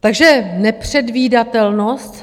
Takže nepředvídatelnost.